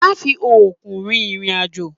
Má fi òru rin ìrìn àjò!